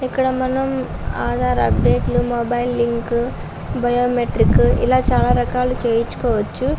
ఇక్కడ మనం ఆధార్ అప్డేట్లు మొబైల్ లింకు బయోమెట్రిక్ ఇలా చాలా రకాలుగా చేయించుకోవచ్చు.